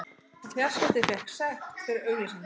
Og fjarskipti fékk sekt fyrir auglýsingar